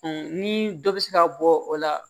ni dɔ bɛ se ka bɔ o la